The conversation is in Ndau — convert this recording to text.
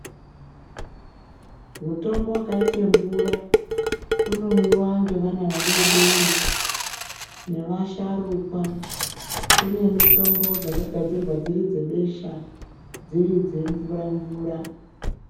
Mutombo vakaita mvura unomwiva ngevana vadodori nevasharukwa, kune muitombo dzakagadzirwa dziri dzebesha dziri dzemvura-mvura.